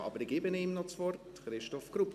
Aber ich gebe ihm noch das Wort: Christoph Grupp.